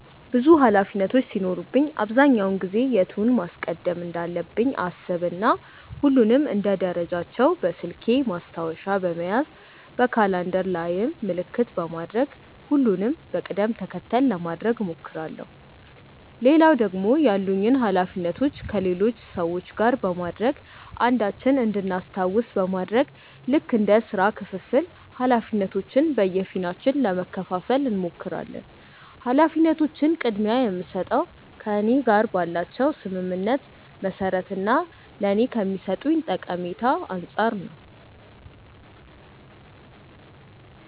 ብዙ ኃላፊነቶች ሲኖሩብኝ አብዛኛውን ጊዜ የቱን ማስቀደም እንዳለብኝ አሰብ እና ሁሉንም እንደ ደረጃቸው በስልኬ ማስታወሻ በመያዝ በካላንደር ላይም ምልክት በማድረግ ሁሉንም በቅድም ተከተል ለማድረግ እሞክራለው። ሌላው ደግሞ ያሉኝን ኃላፊነቶች ከሌሎች ሰዎች ጋር በማድረግ አንዳችን እንድናስታውስ በማድረግ ልክ እንደ ስራ ክፍፍል ኃላፊነቶችን በየፊናችን ለመከፈፋል እንሞክራለን። ኃላፊነቶችን ቅድምያ የምስጠው ከእኔ ጋር ባላቸው ስምምነት መሰረት እና ለኔ ከሚሰጡኝ ጠቀሜታ አንፃር ነው።